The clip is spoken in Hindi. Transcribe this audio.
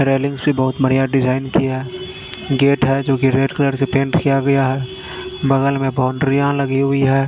रेलिंग से बहोत बढ़िया डिजाइन किया है गेट है जो की रेड कलर से पेंट किया गया है बगल में बाउंड्रीया लगी हुई है।